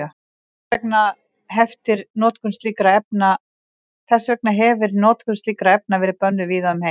Þess vegna hefir notkun slíkra efna verið bönnuð víða um heim.